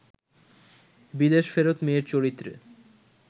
বিদেশ ফেরত মেয়ের চরিত্রে